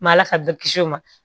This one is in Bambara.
Ma ala sago kis'o ma